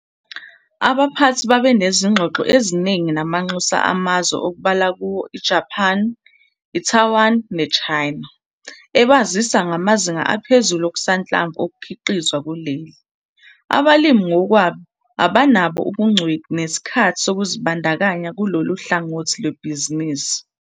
Abaphathi babe nezingxoxo eziningi namanxusa amazwe okubalwa kuwo iJapan, iTaiwan neChina, ebazisa ngamazinga aphezulu okusanhlamvu okukhiqizwa kuleli. Abalimi ngokwabo abanabo ubungcweti nesikhathi sokuzibandakanya kulolu hlangothi lwebhizinisi.